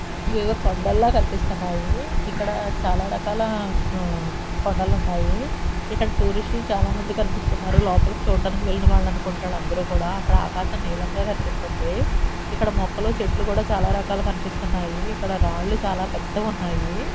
ఇవేవో కొండలా కనిపిస్తున్నాయి ఇక్కడ చాలా రకాల ఊ కొండలు ఉన్నాయి ఇక్కడ టూరిస్టులు చాలామంది కనిపిస్తున్నారు లోపలకి చూడడానికి వెళ్ళిన వాళ్ళు అనుకుంటా వాళ్లందరూ కూడా అక్కడ ఆకాశం నీలం గా కనిపిస్తుంది ఇక్కడ మొక్కలు చెట్లు కూడా చాలా రకాలు కనిపిస్తున్నాయి ఇక్కడ రాళ్లు చాలా పెద్దవి ఉన్నాయి.